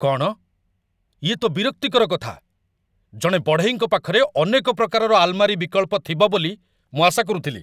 କ'ଣ? ୟେ ତ ବିରକ୍ତିକର କଥା! ଜଣେ ବଢ଼େଇଙ୍କ ପାଖରେ ଅନେକ ପ୍ରକାରର ଆଲମାରୀ ବିକଳ୍ପ ଥିବ ବୋଲି ମୁଁ ଆଶା କରୁଥିଲି।